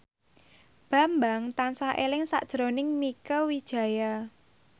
Bambang tansah eling sakjroning Mieke Wijaya